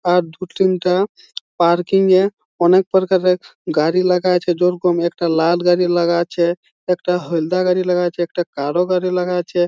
আর দু তিনটা পার্কিং -এ অনেক প্রকারের গাড়ি লাগাইছে। যেরকম একটা লাল গাড়ি লাগাইছে একটা হলদে গাড়ি লাগাইছে একটা কালো গাড়ি লাগাইছে।